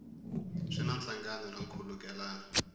swi na nhlangano na nkhulukelano